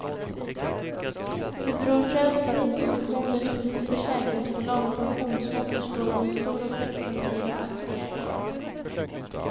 Det beror främst på att institutioner som försäkringsbolag och pensionsfonder står för en stor och växande del av aktieägandet.